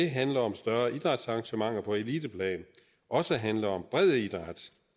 handle om større idrætsarrangementer på eliteplan også handler om bred idræt